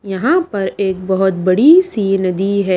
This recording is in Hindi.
यहां पर एक बहुत बड़ी सी नदी है।